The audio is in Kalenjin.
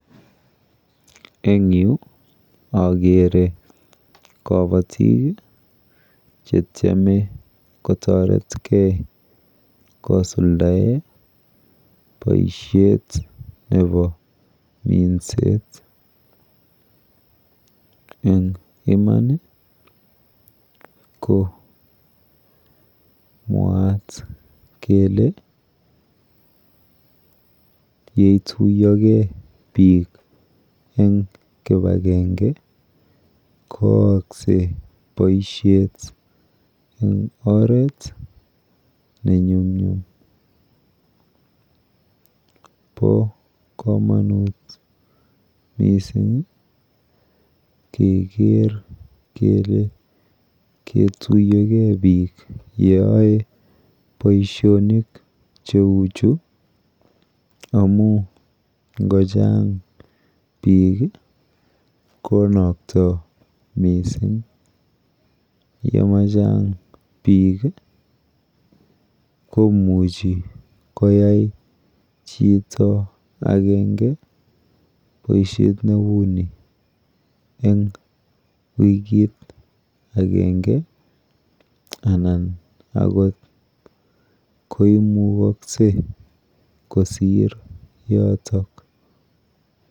Eng yu akere kabatik chetyeme kotoretgei kosuldae boishet nepo minset eng iman ko mwaat kele yeituiyogei biik eng kipakenge koaaksei boishet eng oret nenyumnyum. Po komonut mising keker kele ketuiyogei biik yooe boishonik cheuchu amu yechang biik konoktoi mising yemachang biik komuchi koyai chito akenge boishet neuni eng wikit akenge anan akot ko imukoksei kosir yoto.